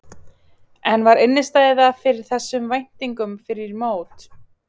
En var innistæða fyrir þessum væntingum fyrir mót?